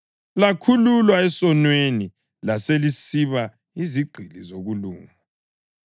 Lakhululwa esonweni laselisiba yizigqili zokulunga.